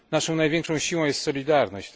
Naszą największą siłą jest solidarność.